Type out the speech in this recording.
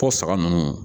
Ko saga ninnu